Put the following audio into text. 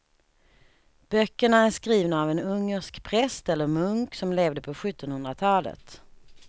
Böckerna är skrivna av en ungersk präst eller munk som levde på sjuttonhundratalet.